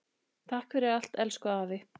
Takk fyrir allt, elsku afi.